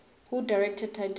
who directed titanic